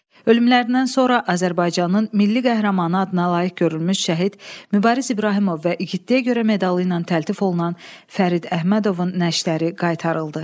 Ölümlərindən sonra Azərbaycanın milli qəhrəmanı adına layiq görülmüş şəhid Mübariz İbrahimov və igidliyə görə medalı ilə təltif olunan Fərid Əhmədovun nəşləri qaytarıldı.